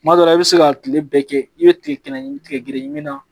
Kuma dɔ la i bɛ se ka kile bɛɛ kɛ i bɛ tigɛ ɲimi tigɛ gere min na